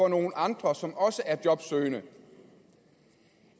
nogle andre som også er jobsøgende